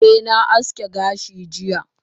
eh na aski gashi jiya